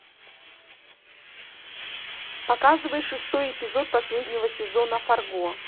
показывай шестой эпизод последнего сезона фарго